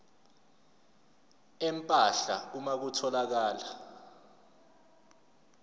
empahla uma kutholakala